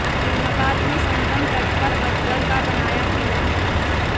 इलाहाबाद में संगम तट पर अकबर का बनाया किला